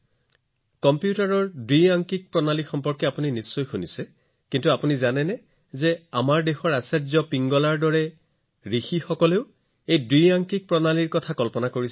কম্পিউটাৰৰ ভাষাত আপুনি বাইনাৰী প্ৰণালীৰ বিষয়েও শুনিছে কিন্তু আপুনি জানেনে আমাৰ দেশত আচাৰ্য পিংগলাৰ দৰে ঋষি আছিল যিয়ে বাইনাৰী কল্পনা কৰিছিল